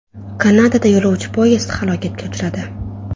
Kanadada yo‘lovchi poyezd halokatga uchradi.